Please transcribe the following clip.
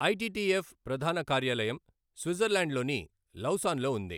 ITTF ప్రధాన కార్యాలయం స్విట్జర్లాండ్లోని లౌసాన్లో ఉంది.